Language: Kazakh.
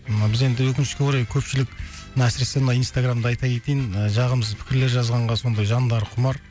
ы біз енді өкінішке орай көпшілік мына әсіресе мына инстаграмда айта кетейін ы жағымсыз пікірлер жазғанға сондай жандары құмар